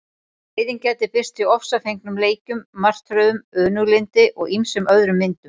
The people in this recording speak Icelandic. Reiðin gæti birst í ofsafengnum leikjum, martröðum, önuglyndi og ýmsum öðrum myndum.